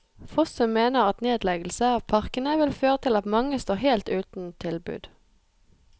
Fossum mener at nedleggelse av parkene vil føre til at mange står helt uten tilbud.